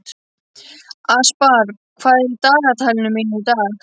Aspar, hvað er á dagatalinu mínu í dag?